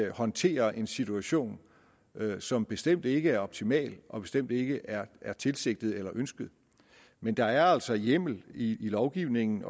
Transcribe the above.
at håndtere en situation som bestemt ikke er optimal og bestemt ikke er er tilsigtet eller ønsket men der er altså hjemmel i lovgivningen